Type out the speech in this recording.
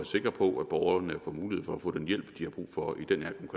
sikre på at borgerne får mulighed for at få den hjælp de har brug for i den